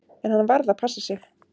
En hann varð að passa sig.